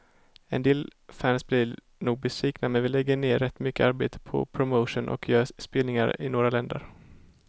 En del fans blir nog besvikna, men vi lägger ner rätt mycket arbete på promotion och gör spelningar i några länder.